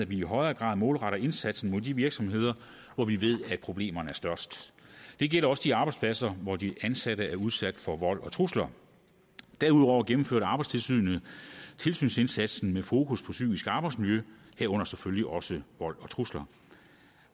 vi i højere grad målretter indsatsen mod de virksomheder hvor vi ved at problemerne er størst det gælder også de arbejdspladser hvor de ansatte er udsat for vold og trusler derudover gennemførte arbejdstilsynet tilsynsindsatsen med fokus på psykisk arbejdsmiljø herunder selvfølgelig også vold og trusler